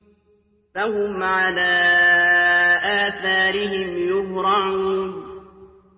فَهُمْ عَلَىٰ آثَارِهِمْ يُهْرَعُونَ